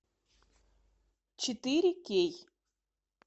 четыре кей